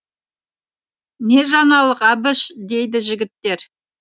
не жаңалық әбіш дейді жігіттер